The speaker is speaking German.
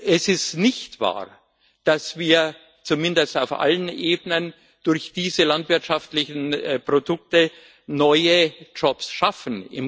Es ist nicht wahr, dass wir zumindest auf allen Ebenen durch diese landwirtschaftlichen Produkte neue Jobs schaffen.